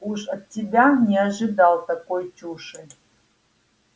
уж от тебя не ожидал такой чуши